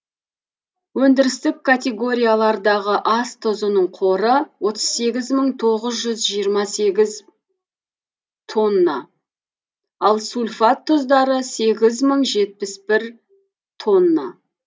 өндірістік категориялардағы ас тұзының қоры отыз сегіз мың тоғыз жүз жиырма сегіз тонна ал сульфат тұздары сегіз мың жетпіс бір тонна